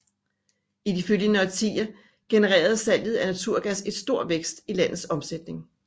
I de følgende årtier genererede salget af naturgas et stort vækst i landets omsætning